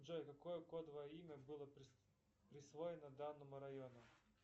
джой какое кодовое имя было присвоено данному району